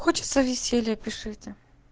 хочется веселья пишите